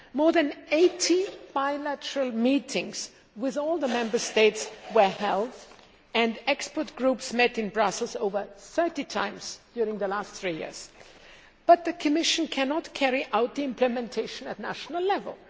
More than 80 bilateral meetings with all the Member States were held and expert groups met in Brussels over 30 times during the last three years. But the Commission cannot carry out the implementation at national level.